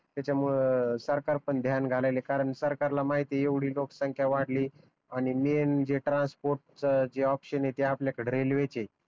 त्याच्यामुळे सरकार पण ध्यान घालायला लागल कारण सरकार ला माहित आहे एवढी लोकसंख्या वाढली आणि मेनं जे ट्रान्स्पोर्ट च जे ऑप्शन आहे ते आपल्याकड रेलवे च आहे